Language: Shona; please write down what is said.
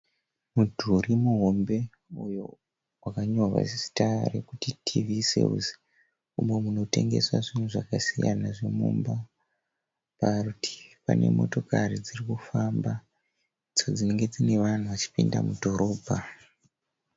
Mudhuri muhombe uyo wakanyorwa zita re kuti TV Sales , umo muno tengeswa zvinhu zvakasiyana zvemumba. Parutivi pane motokari dzirikufamba ndidzo dzinenge dziine vanhu varikupinda mudhorobha.